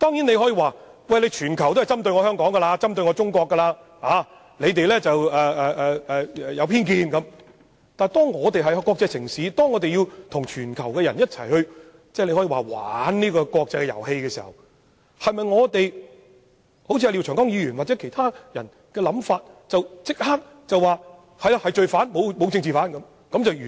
你大可辯稱全球都在針對香港和中國，對我們懷有偏見，但當香港是國際城市，要跟全球人士玩這個國際遊戲時，是否可以一如廖長江議員或其他人士所想，立即予以否認，便能讓事情了結呢？